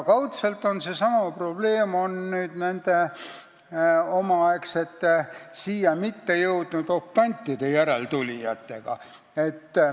Kaudselt on meil seesama probleem nende omaaegsete siia mitte jõudnud optantide järeltulijatega.